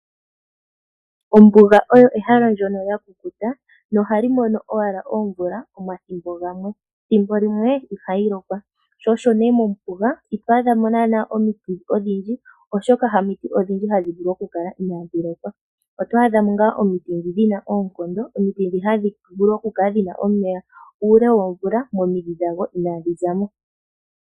Ombuga oyo ehala ndyono lyakukuta nohali mono owala omvula omathimbo gamwe. Thimbo limwe ihayi lokwa sho osho ne mombuga ito adha mo naana omiti odhindji, oshoka hamiti odhindji hadhi vulu oku kala inaadhi lokwa .Oto adha mo ngaa omiti ndhi dhina oonkondo. Omiti ndhi hadhi vulu oku kala dhina omeya uule womvula momidhi dhago inaaga zamo.